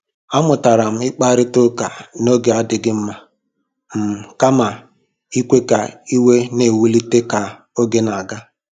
A mụtara m ịkparịta ụka n'oge adịghị mma um kama ikwe ka iwe na-ewulite ka oge na-aga.